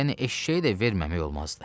Yəni eşşəyi də verməmək olmazdı.